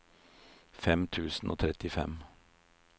fem tusen og trettifem